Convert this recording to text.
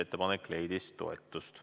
Ettepanek leidis toetust.